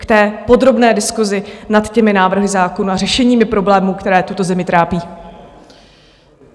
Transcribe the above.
K té podrobné diskusi nad těmi návrhy zákonů a řešeními problémů, které tuto zemi trápí.